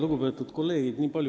Lugupeetud kolleegid!